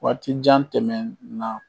Waatijan tɛmɛn na